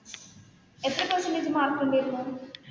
എത്ര പെർസെന്റജ് മാർക്കുണ്ടായിരുന്നു.